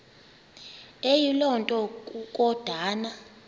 eyiloo nto kukodana